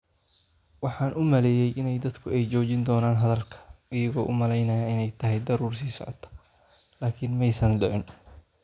Waxaan u maleeyay in dadku ay joojin doonaan hadalka - iyagoo u malaynaya inay tahay daruur sii socota - laakiin ma aysan dhicin."